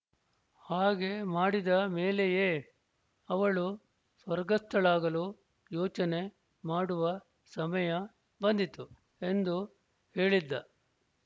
ಹಾಗೆ ಮಾಡಿದ ಮೇಲೆಯೇ ಅವಳು ಸ್ವರ್ಗಸ್ಥಳಾಗಲು ಯೋಚನೆ ಮಾಡುವ ಸಮಯ ಬಂದಿತು ಎಂದು ಹೇಳಿದ್ದ